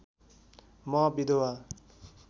म विधवा